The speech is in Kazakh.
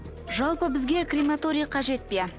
жалпы бізге крематорий қажет пе